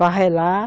Para relar.